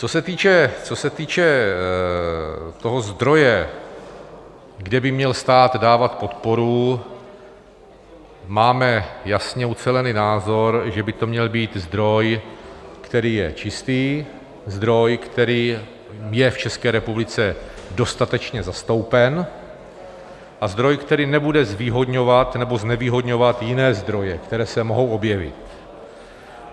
Co se týče toho zdroje, kde by měl stát dávat podporu, máme jasně ucelený názor, že by to měl být zdroj, který je čistý, zdroj, který je v České republice dostatečně zastoupen, a zdroj, který nebude zvýhodňovat nebo znevýhodňovat jiné zdroje, které se mohou objevit.